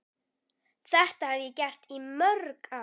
Þetta hef ég gert í mörg ár.